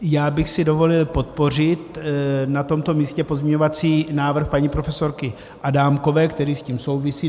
Já bych si dovolil podpořit na tomto místě pozměňovací návrh paní profesorky Adámkové, který s tím souvisí.